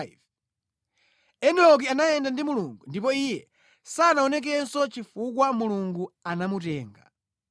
Enoki anayenda ndi Mulungu; ndipo iye sanaonekenso chifukwa Mulungu anamutenga.